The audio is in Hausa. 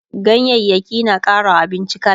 ganyayaki na ƙarawa abinci kala